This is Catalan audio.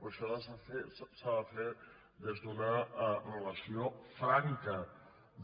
però això s’ha de fer des d’una relació franca